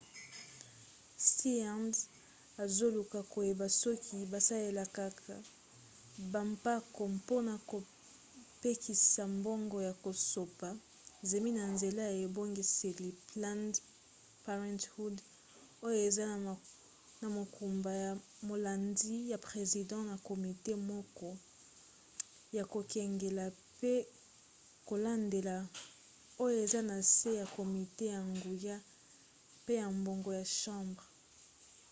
stearns azoluka koyeba soki basalelaka bampako mpona kopekisa mbongo ya kosopa zemi na nzela ya ebongiseli planned parenthood oyo eza na mokumba ya molandi ya president na komite moke ya kokengela pe kolandela oyo eza na se ya komite ya nguya pe ya mbongo ya chambre